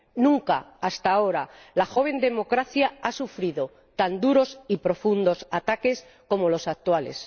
Nunca hasta ahora la joven democracia ha sufrido tan duros y profundos ataques como los actuales.